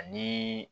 Ani